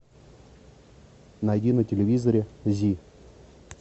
найди на телевизоре зи